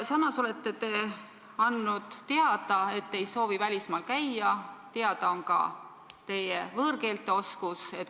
Samas olete andnud teada, et te ei soovi välismaal käia, teada on ka teie võõrkeelte oskus.